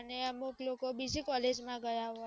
હા અને અમુક લોકો બીજી કોલેજ માં ગયા